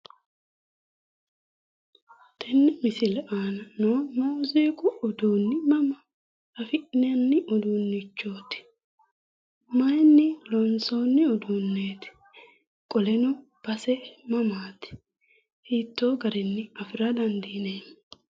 Tenne misile noo muuziiqu uduunni mama afi'nanni uduunnichooti? Mayiinni loonsoonni uduunnichooti? Qoleno base mamaati? Hiittoo garinni afira dandineemmo?